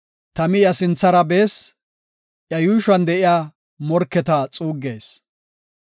Tami iya sinthara bees; iya yuushuwan de7iya morketa xuuggees.